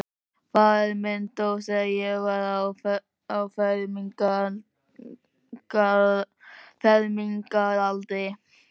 Faðir minn dó, þegar ég var á fermingaraldri.